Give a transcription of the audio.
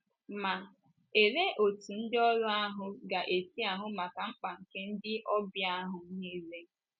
Ma, olee otú ndịoru ahụ ga - esi ahụ maka mkpa nke ndị ọbịa ahụ nile?